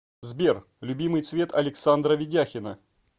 сбер любимый цвет александра ведяхина